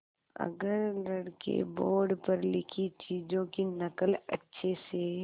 अगर लड़के बोर्ड पर लिखी चीज़ों की नकल अच्छे से